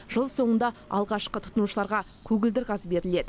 жыл соңында алғашқы тұтынушыларға көгілдір газ беріледі